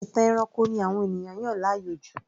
Ìtàn ẹranko ni àwọn ènìyàn yàn láàyò jù